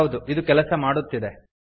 ಹೌದು ಇದು ಕೆಲಸ ಮಾಡುತ್ತಿದೆ